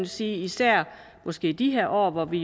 sige at især i de her år hvor vi